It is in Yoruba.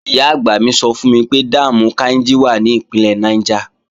Ìyá-àgbà mi sọ fún mi pé dáàmù Káínjí wà ní Ìpínlẹ̀ Niger